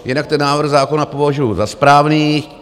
Jinak ten návrh zákona považuji za správný.